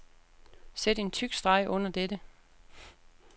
Sæt en tyk streg under dette.